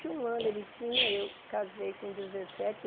e um anos ele tinha, eu casei com dezessete